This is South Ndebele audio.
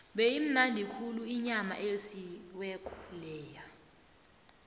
beyimnandi khulu inyama eyosiweko leya